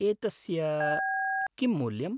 एतस्य किं मूल्यम् ?